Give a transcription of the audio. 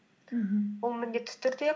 мхм ол міндетті түрде